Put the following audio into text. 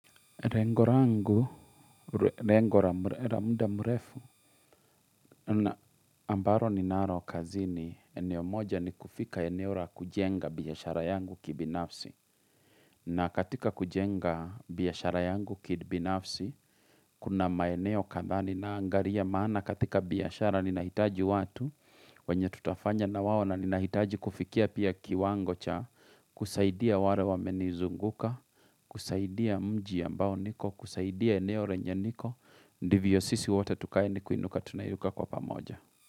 Rengo rangu, rengora muda mrefu, na ambaro ni naro kazini, eneo moja ni kufika eneo ra kujenga biashara yangu kibinafsi. Na katika kujenga biyashara yangu kibinafsi, kuna maeneo kadha ninaangaria maana katika biashara ni nahitaji watu, wenye tutafanya na wao na ninahitaji kufikia pia kiwango cha kusaidia ware wamenizunguka, kusaidia mji ambao niko, kusaidia eneo lenye niko, ndivyo sisi wote tukae ni kuinuka tunaiuka kwa pamoja.